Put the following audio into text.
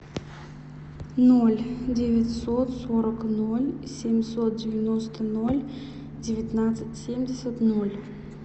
ноль девятьсот сорок ноль семьсот девяносто ноль девятнадцать семьдесят ноль